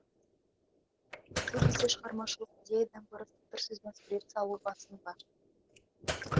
әлде бізде шығармашылық идеядан гөрі сылдыр сөзбен сурет салу басым ба